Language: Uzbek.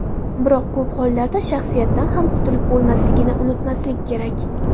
Biroq ko‘p hollarda shaxsiyatdan ham qutilib bo‘lmasligini unutmaslik kerak.